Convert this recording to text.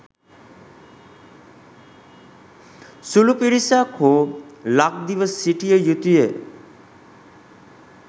සුළු පිරිසක් හෝ ලක්දිව සිටිය යුතුය.